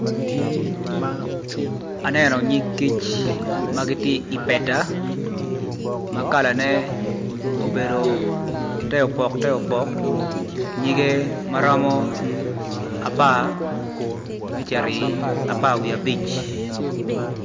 Aneno nyig kic ma giti i peta ma kalane obedo te opok te opok nyige maromo apar me cito apar wiye abic